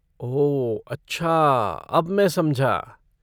ओह, अच्छा अब मैं समझा।